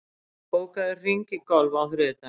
Knörr, bókaðu hring í golf á þriðjudaginn.